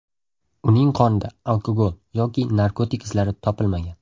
Uning qonida alkogol yoki narkotik izlari topilmagan.